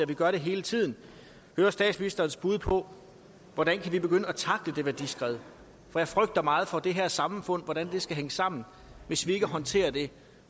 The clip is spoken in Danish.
vi gør det hele tiden statsministerens bud på hvordan vi kan begynde at tackle det værdiskred for jeg frygter meget for hvordan det her samfund skal hænge sammen hvis vi ikke håndterer det